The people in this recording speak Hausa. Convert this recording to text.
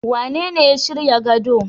Wanene ya shirya gado.